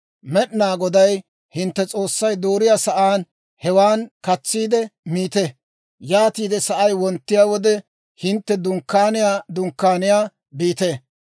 Med'inaa Goday hintte S'oossay dooriyaa sa'aan, hewan katsiide miite; yaatiide sa'ay wonttiyaa wode, hintte dunkkaaniyaa dunkkaaniyaa biite.